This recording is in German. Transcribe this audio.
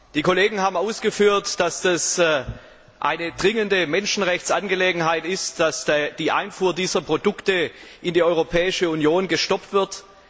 Die Kollegen haben ausgeführt, dass es eine dringende Menschenrechtsangelegenheit ist, dass die Einfuhr dieser Produkte in die Europäische Union gestoppt wird.